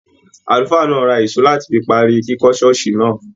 Àlùfáà náà ra ìṣó láti fi parí kíkọ́ ṣọ́ọ̀ṣì náà.